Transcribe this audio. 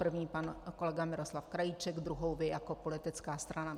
První pan kolega Miroslav Krajíček, druhou vy jako politická strana.